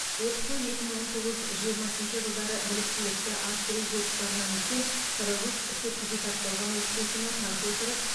оқыту екі мың он тоғыз жиырмасыншы жылдары біліктілікті арттыру курстарынан өткен қырық үш сертификатталған оқытушыны тарта отырып